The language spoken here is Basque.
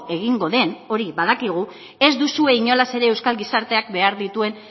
egingo den hori badakigu ez duzue inolaz ere euskal gizarteak behar dituen